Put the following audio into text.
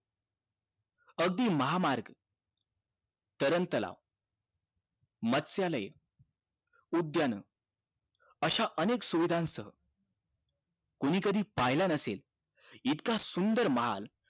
अगदी महामार्ग तरंग तलाव मत्स्यालय उद्यान अश्या अनेक सुविधाच कोणी कधी पाहिलं नसेल इतका सुंदर महाल